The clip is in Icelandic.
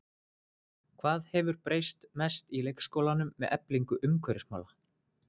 Hvað hefur breyst mest í leikskólanum með eflingu umhverfismála?